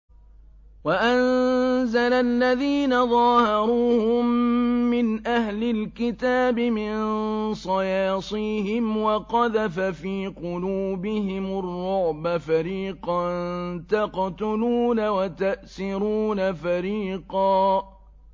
وَأَنزَلَ الَّذِينَ ظَاهَرُوهُم مِّنْ أَهْلِ الْكِتَابِ مِن صَيَاصِيهِمْ وَقَذَفَ فِي قُلُوبِهِمُ الرُّعْبَ فَرِيقًا تَقْتُلُونَ وَتَأْسِرُونَ فَرِيقًا